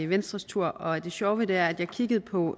venstres tur og det sjove ved det er at jeg kiggede på